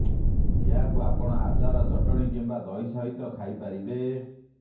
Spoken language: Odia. ଏହାକୁ ଆପଣ ଆଚାର ଚଟଣି କିମ୍ବା ଦହି ସହିତ ଖାଇପାରିବେ